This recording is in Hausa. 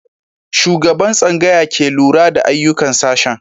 Shugaban tsangaya ke lura da ayyukan sashen.